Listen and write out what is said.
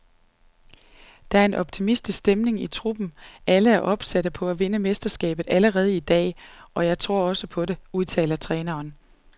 Der er en optimistisk stemning i truppen, alle er opsatte på at vinde mesterskabet allerede i dag, og jeg tror også på det, udtaler træneren.